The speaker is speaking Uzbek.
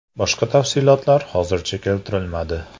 Boshqa tafsilotlar hozircha keltirilmadi.